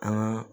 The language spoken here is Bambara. An ka